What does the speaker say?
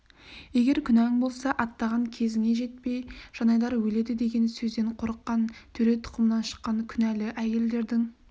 егер күнәң болса аттаған кезіңе жетпей жанайдар өледі деген сөзден қорыққан төре тұқымынан шыққан күнәлі әйелдердің